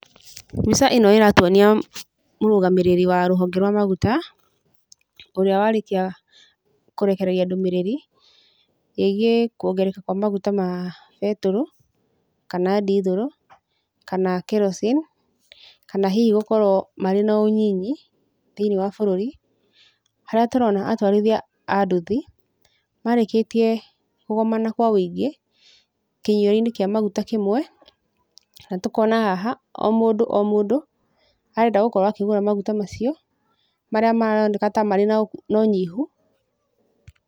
Mbica ĩno ĩratuonia mũrũgamĩrĩri wa rũhonge rwa maguta, ũrĩa warĩkia kũrekereria ndũmĩrĩri, ĩgiĩ kuongerereka kwa maguta ma betũrũ, kana ndithũrũ, kana kerosene, kana hihi gũkorwo marĩ na ũnyinyi thĩinĩ wa bũrũri, harĩa tũrona atwarithia a nduthi, marĩkĩtie kũgomana kwa ũingĩ, kĩnyuĩro-inĩ kĩa maguta kĩmwe, na tũkona haha, o mũndũ o mũndũ arenda gũkorwo akĩgũra maguta macio, marĩa maroneka ta marĩ na ũnyihu.